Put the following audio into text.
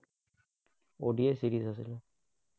ODI series আছিলে।